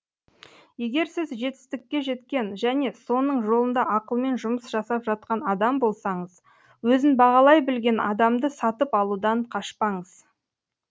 егер сіз жетістікке жеткен және соның жолында ақылмен жұмыс жасап жатқан адам болсаңыз өзін бағалай білген адамды сатып алудан қашпаңыз